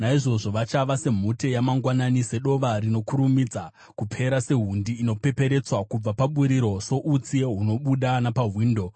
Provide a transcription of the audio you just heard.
Naizvozvo vachava semhute yamangwanani, sedova rinokurumidza kupera, sehundi inopeperetswa kubva paburiro, soutsi hunobuda napawindo.